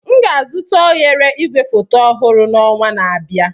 M ga-azụta oghere igwefoto ọhụrụ n'ọnwa na-abịa.